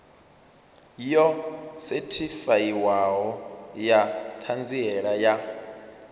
yo sethifaiwaho ya ṱhanziela ya